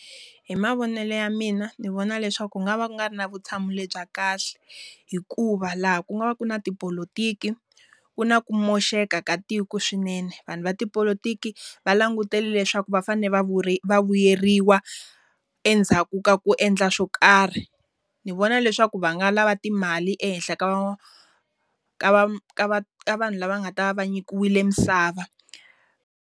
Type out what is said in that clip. Hi mavonelo ya mina ni vona leswaku ku nga va ku nga ri na vutshamo lebyi kahle. Hikuva laha ku nga va ku ri na tipolotiki, ku na ku moxeka ka tiko swinene. Vanhu va tipolotiki va langutele leswaku va fanele va va vu vuyeriwa endzhaku ka ku endla swo karhi. Ni vona leswaku va nga lava timali ehenhla ka ka ka ka vanhu lava nga ta va va nyikiwile misava.